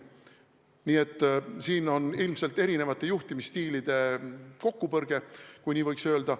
Nii et siin on ilmselt erinevate juhtimisstiilide kokkupõrge, kui nii võib öelda.